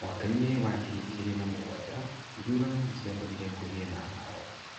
Mwaka-inĩ wa ngiri igĩrĩ na mũgwanja, ithurano nĩ ciatũmire kũgĩe na haaro.